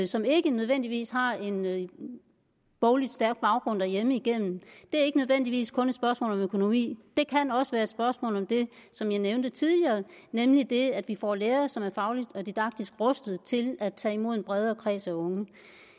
som ikke nødvendigvis har en boglig stærk baggrund derhjemme igennem er ikke nødvendigvis kun et spørgsmål om økonomi det kan også være et spørgsmål om det som jeg nævnte tidligere nemlig det at vi får lærere som er fagligt og didaktisk rustede til at tage imod en bredere kreds af unge